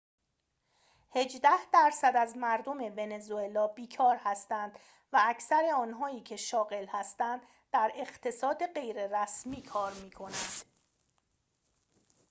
هجده درصد از مردم ونزوئلا بیکار هستند و اکثر آنهایی که شاغل هستند در اقتصاد غیررسمی کار می‌کنند